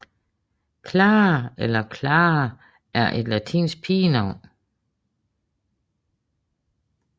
Clara eller Klara er et latinsk pigenavn